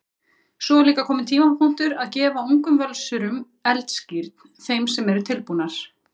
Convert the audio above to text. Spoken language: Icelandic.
Svo er líka kominn tímapunktur að gefa ungum Völsurum eldskírn, þeim sem eru tilbúnar.